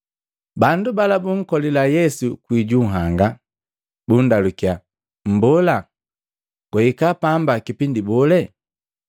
Bandu bala bunkolila Yesu kwii ju nhanga, bundalukiya, “Mbola, gwahika pamba kipindi bole?”